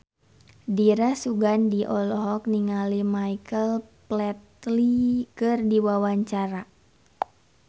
Dira Sugandi olohok ningali Michael Flatley keur diwawancara